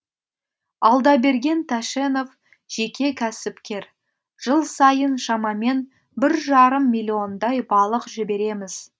алдаберген тәшенов жеке кәсіпкер жыл сайын шамамен бір жарым миллиондай балық жібереміз